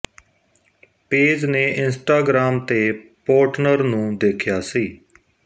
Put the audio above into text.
page ਨੇ Instagram ਤੇ partner ਨੂੰ ਦੇਖਿਆ ਸੀ